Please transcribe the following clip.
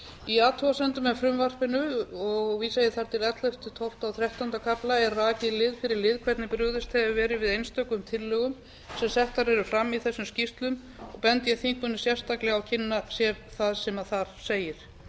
í athugasemdum með frumvarpinu og vísa ég þar til ellefta tólfta og þrettánda kafla er rakið lið fyrir lið hvernig brugðist hefur verið við einstökum tillögum sem settar eru fram í þessum skýrslum og bendi ég þingmönnum sérstaklega á að kynna sér það sem þar segir